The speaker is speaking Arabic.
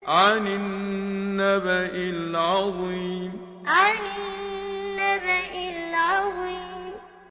عَنِ النَّبَإِ الْعَظِيمِ عَنِ النَّبَإِ الْعَظِيمِ